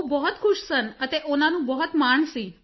ਉਹ ਬਹੁਤ ਖੁਸ਼ ਸਨ ਅਤੇ ਉਨ੍ਹਾਂ ਨੂੰ ਬਹੁਤ ਮਾਣ ਸੀ